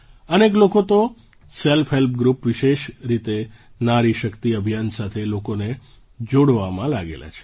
અનેક લોકો તો સેલ્ફ હેલ્પગ્રૂપ વિશેષ રીતે નારી શક્તિ અભિયાન સાથે લોકોને જોડવામાં લાગેલા છે